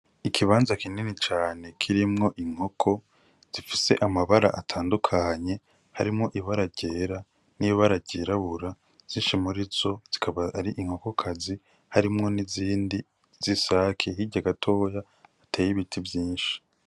Ikibanza kinini cane kirimwo inkoko zifise amabara atandukanye harimwo ibara ryera n'ibara ryirabura zinshi muri zo zikaba ari inkoko kazi harimwo n'izindi z'isake hirya gatoya hateye ibiti vyinshi.